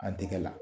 An tɛgɛ la